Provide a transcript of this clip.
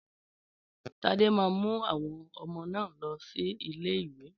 Tádé máa mú àwọn ọmọ náà lọ sí ilé ìwé